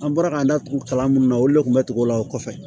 An bɔra k'an da tugu kalan minnu na olu le kun bɛ tugu o la o kɔfɛ